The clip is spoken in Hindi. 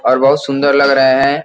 और बहुत सुंदर लग रहा है।